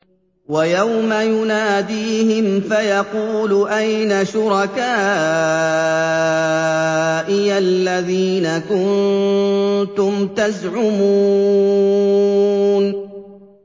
وَيَوْمَ يُنَادِيهِمْ فَيَقُولُ أَيْنَ شُرَكَائِيَ الَّذِينَ كُنتُمْ تَزْعُمُونَ